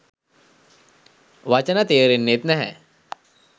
වචන තේරෙන්නෙත් නැහැ